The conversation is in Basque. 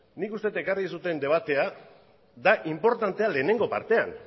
nik uste dut ekarri duzuen debatea da inportantea lehenengo partean